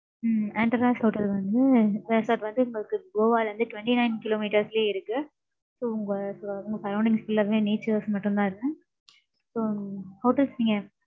உம் Anteras hotel வந்து resort வந்து உங்களுக்கு Goa ல இருந்து, twenty-nine kilometres லயே இருக்கு. So உங்க su~ surroundings full ஆவே, natures மட்டும்தான் இருக்கும். So hotels நீங்க,